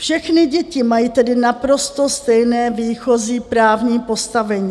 Všechny děti mají tedy naprosto stejné výchozí právní postavení.